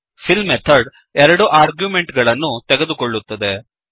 fill method ಎರಡು argument ಗಳನ್ನು ತೆಗೆದುಕೊಳ್ಳುತ್ತದೆ